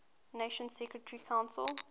nations security council